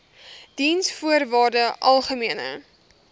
diensvoorwaardesalgemene